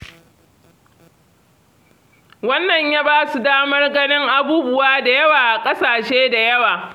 Wannan ya ba su damar ganin abubuwa da yawa a ƙasashe da yawa.